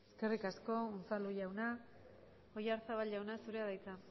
eskerrik asko unzalu jauna oyarzabal jauna zurea da hitza